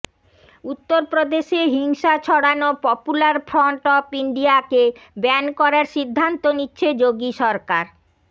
উত্তরপ্রদেশে হিংসা ছড়ানো পপুলার ফ্রন্ট অফ ইন্ডিয়াকে ব্যান করার সিদ্ধান্ত নিচ্ছে যোগী সরকার